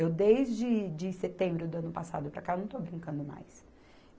Eu, desde de setembro do ano passado para cá, eu não estou brincando mais.